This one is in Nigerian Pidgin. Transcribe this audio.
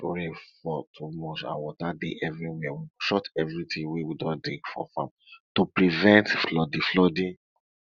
if rain fall too much and water dey everywhere we go shut everytin wey we don dig for farm to prevent flooding flooding